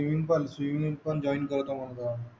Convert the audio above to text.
सिविंग पण स्विमिंग पण जॉईन करतो म्हणल आता